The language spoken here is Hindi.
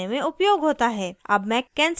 अब मैं cancel button पर click करती हूँ